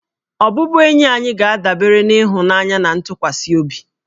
Ọbụbụenyi anyị ga-adabere na ịhụnanya na ntụkwasị obi